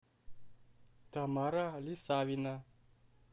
тамара лисавина